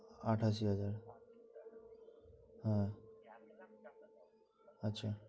আটাশি হাজার হ্যাঁ আচ্ছা